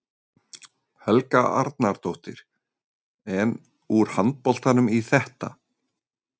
Helga Arnardóttir: En, úr handboltanum í þetta?